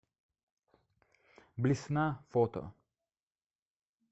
блесна фото